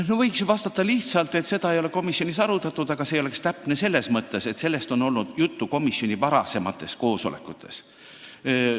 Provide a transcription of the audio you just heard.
No võiks ju vastata lihtsalt, et seda komisjonis ei arutatud, aga see ei oleks õige selles mõttes, et sellest on olnud juttu komisjoni varasematel koosolekutel.